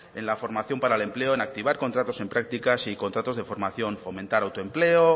en la formación para el empleo en activar contratos en prácticas y contratos de formación fomentar autoempleo